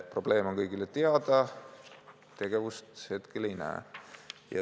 Probleem on kõigile teada, tegevust hetkel ei näe.